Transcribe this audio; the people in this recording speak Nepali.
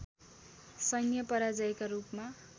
सैन्य पराजयका रूपमा